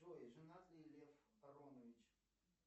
джой женат ли лев аронович